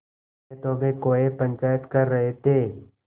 खेतों में कौए पंचायत कर रहे थे